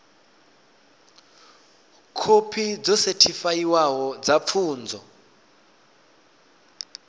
khophi dzo sethifaiwaho dza pfunzo